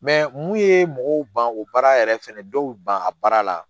mun ye mɔgɔw ban o baara yɛrɛ fɛnɛ dɔw ban a baara la